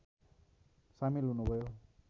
सामेल हुनुभयो